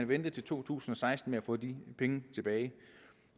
vente til to tusind og seksten med at få de penge tilbage